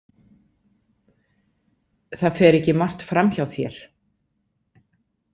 Það fer ekki margt fram hjá þér.